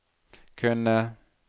kunne